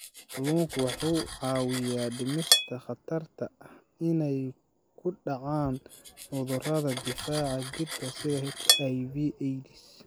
Kalluunku wuxuu caawiyaa dhimista khatarta ah inay ku dhacaan cudurrada difaaca jirka sida HIV/AIDS.